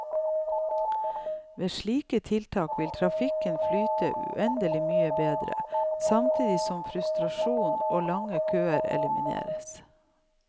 Ved slike tiltak vil trafikken flyte uendelig mye bedre, samtidig som frustrasjon og lange køer elimineres.